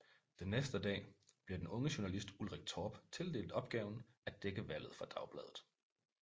Den næste dag bliver den unge journalist Ulrik Torp tildelt opgaven at dække valget for Dagbladet